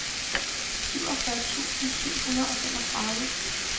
syvogfyrre tusind syv hundrede og femogtredive